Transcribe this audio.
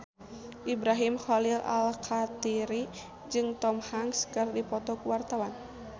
Ibrahim Khalil Alkatiri jeung Tom Hanks keur dipoto ku wartawan